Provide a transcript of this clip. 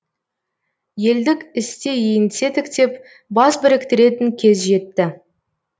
елдік істе еңсе тіктеп бас біріктіретін кез жетті